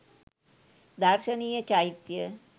දර්ශනීය චෛත්‍යය